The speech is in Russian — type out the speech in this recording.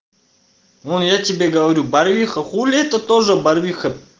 ну я тебе говорю барвиха хули это тоже барвиха